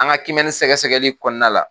An ka kiimɛni sɛgɛsɛgɛli kɔnɔna la